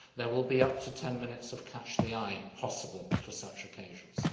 There will be up to 10 minutes of catch the eye possible for such occasions.